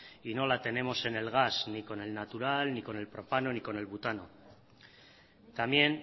y no la tenemos en el gas ni con el natural ni con el propano ni con el butano también